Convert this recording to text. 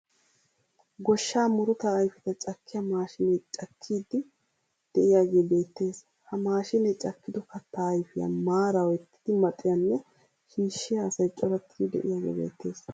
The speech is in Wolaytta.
Goshshaa murutaa ayifeta cakkiya maashinee cakkiiddi de'iyagee beettes. Ha maashine cakkido kattaa ayifiya maara oyttidi maxiyanne shiishshiya asay corattidi de'iyagee beettees.